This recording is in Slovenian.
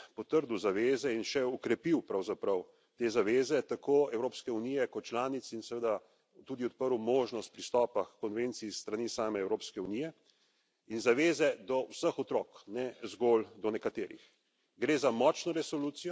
S tem je Evropski parlament potrdil zaveze in še okrepil pravzaprav te zaveze tako Evropske unije kot članic in seveda tudi odprl možnost pristopa h konvenciji s strani same Evropske unije in zaveze do vseh otrok, ne zgolj do nekaterih.